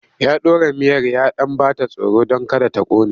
Ya ɗora miyar ya ɗan ba ta tsoro don kada ta ƙone.